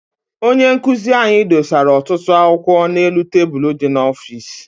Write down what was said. Onye nkụzi anyị dosara ọtụtụ akwụkwọ n'elu tebulu dị n'ọfịịsi.